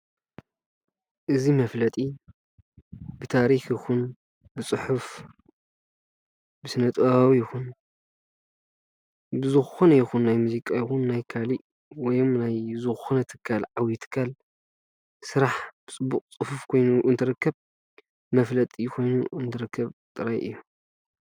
እዚ መፍለጢ ብታሪኽ ይኹን ብፅሑፍ ብስነ-ጥበባዊ ይኹን ብዝኾነ ይኹን ናይ ሙዚቃ ይኩን ናይ ካሊእ ወይም ናይ ዝኾነ ትካል ዓብይ ትካል ስራሕ ፅቡቕ ፅፍፍ ኾይኑ እንትርከብ መፍለጢ ኮይኑ እንትርከብ ጥራሕ እዩ፡፡